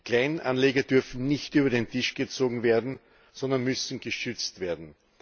Kleinanleger dürfen nicht über den Tisch gezogen werden, sondern müssen geschützt werden.